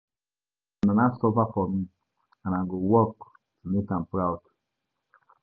My mama suffer for me and I go work to make am Proud